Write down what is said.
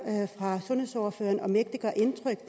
fra sundhedsordføreren om ikke det gør indtryk